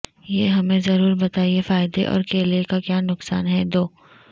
یہ ہمیں ضرور بتائیں فائدے اور کیلے کا کیا نقصان ہے دو